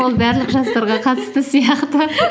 ол барлық жастарға қатысты сияқты